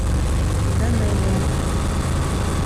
данелия